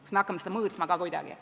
Kas me hakkame seda kuidagi mõõtma ka?